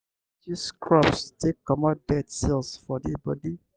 you fit use scrubs take comot dead cells for di body